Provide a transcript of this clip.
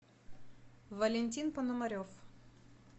валентин пономарев